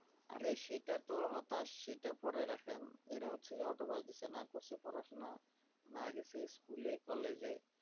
আরে সেটা তো হতাশ সেটা পরে রাখেন এরা হচ্ছে যে autobiogration না করসে পড়াশুনা, না গেসে school college ।